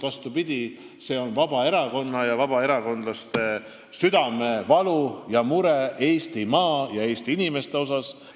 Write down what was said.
Vastupidi, seal oli Vabaerakonna ja vabaerakondlaste südamevalu ja mure Eestimaa ja Eesti inimeste pärast.